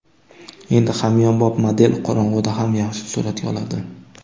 Endi hamyonbop model qorong‘ida ham yaxshi suratga oladi.